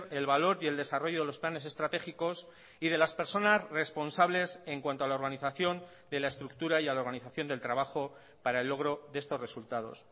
el valor y el desarrollo de los planes estratégicos y de las personas responsables en cuanto a la organización de la estructura y a la organización del trabajo para el logro de estos resultados